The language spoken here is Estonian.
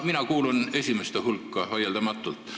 Mina kuulun vaieldamatult esimeste hulka.